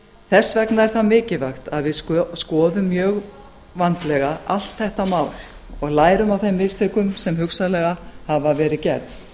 þess vegna er það mikilvægt að við skoðum mjög vandlega allt þetta mál og lærum af þeim mistökum sem hugsanlega hafa verið gerð